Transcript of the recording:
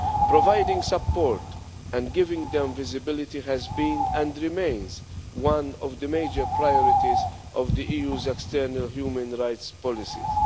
Providing support and giving them visibility has been, and remains, one of the major priorities of the EU's external human rights policies.